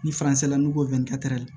Ni n'u ko